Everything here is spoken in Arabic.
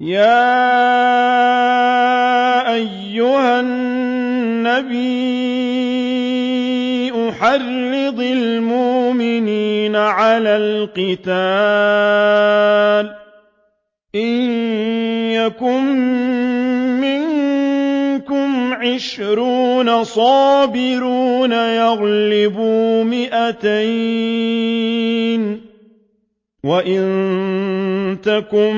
يَا أَيُّهَا النَّبِيُّ حَرِّضِ الْمُؤْمِنِينَ عَلَى الْقِتَالِ ۚ إِن يَكُن مِّنكُمْ عِشْرُونَ صَابِرُونَ يَغْلِبُوا مِائَتَيْنِ ۚ وَإِن يَكُن